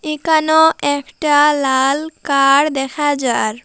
ইকানেও একটা লাল কার দেখা যার।